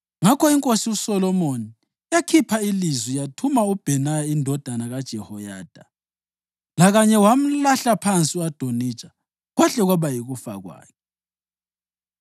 Ngakho iNkosi uSolomoni yakhipha ilizwi yathuma uBhenaya indodana kaJehoyada, lakanye wamlahla phansi u-Adonija kwahle kwaba yikufa kwakhe.